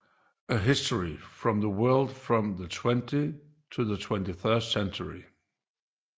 A History of the World from the 20th to the 21st Century